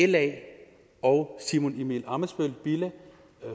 la og simon emil ammitzbøll bille